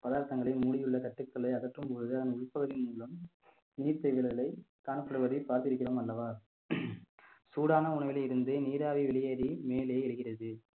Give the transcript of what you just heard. பதார்த்தங்களை மூடியுள்ள தட்டுகளை அகற்றும் பொழுது அதன் உள்பகுதி மூலம் நீர் தேகங்களை காணப்படுவதை பார்த்திருக்கிறோம் அல்லவா சூடான உணவிலே இருந்து நீராவி வெளியேறி மேலே ஏறுகிறது